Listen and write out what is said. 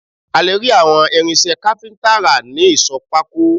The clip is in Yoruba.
A lè rí àwọn irinṣẹ́ kápíntà rà ní ìsọ̀ pákó